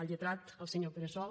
al lletrat el senyor pere sol